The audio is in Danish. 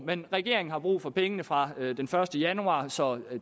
men regeringen har brug for pengene fra den første januar så